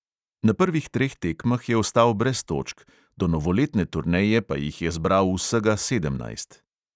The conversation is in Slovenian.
Na prvih treh tekmah je ostal brez točk, do novoletne turneje pa jih je zbral vsega sedemnajst.